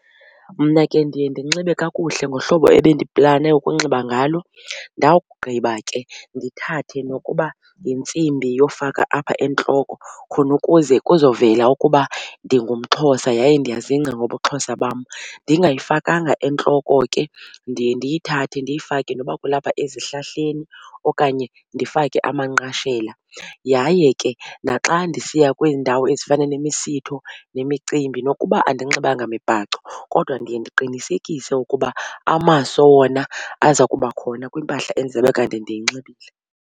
Mna ke ndiye ndinxibe kakuhle ngohlobo ebendiplane ukunxiba ngalo. Ndawugqiba ke ndithathe nokuba yintsimbi yofaka apha entloko khonukuze kuzovela ukuba ndingumXhosa yaye ndiyazingca ngobuXhosa bam. Ndingayifakanga entloko ke ndiye ndiyithathe ndiyifake noba kulapha ezihlahleni okanye ndifake amanqashela. Yaye ke naxa ndisiya kwiindawo ezifana nemisitho nemicimbi nokuba andinxibanga mibhaco kodwa ndiye ndiqinisekise ukuba amaso wona aza kuba khona kwimpahla endizabe kanti ndiyinxibile.